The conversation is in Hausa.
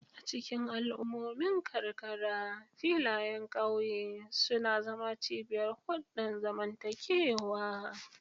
A cikin al'ummomin karkara, filayen ƙauye suna zama cibiyar hulɗar zamantakewa.